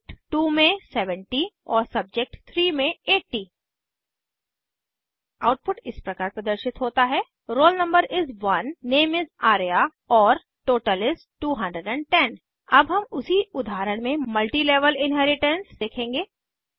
subject 2 में 70 और subject 3 में 80 आउटपुट इस प्रकार प्रदर्शित होता है roll no is 1 name is Arya और टोटल is 210 अब हम उसी उदाहरण में मल्टीलेवल इन्हेरिटेन्स देखेंगे